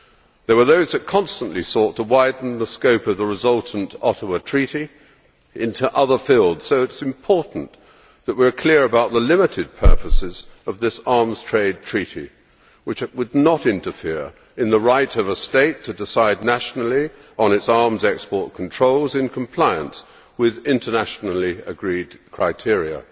There were those that constantly sought to widen the scope of the resultant Ottawa Treaty into other fields, so it is important that we are clear about the limited purposes of this Arms Trade Treaty which would not interfere in the right of a state to decide nationally on its arms export controls in compliance with internationally agreed criteria.